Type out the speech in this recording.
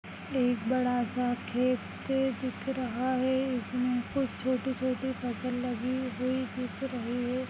एक बड़ा सा खेत दिख रहा है इसमें कुछ छोटी-छोटी फसल लगी हुई दिख रही है।